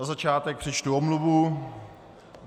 Na začátek přečtu omluvu.